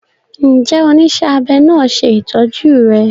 Njé onísé abé náa ṣe ìtọjú rè?